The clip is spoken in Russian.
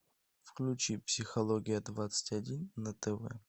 включи психология двадцать один на тв